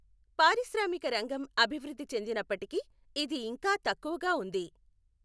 పారిశ్రామిక రంగం అభివృద్ది చెందినప్పటికీ ఇది ఇంకా తక్కువగా ఉంది.